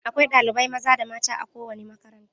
Akwai ɗalibai maza da mata a kowane makaranta.